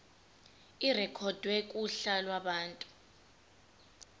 irekhodwe kuhla lwabantu